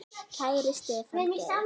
Kæri Stefán Geir.